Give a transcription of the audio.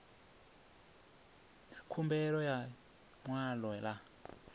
khumbelo ya ḽi ṅwalo ḽa